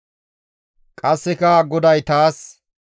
Qasseka GODAY taas,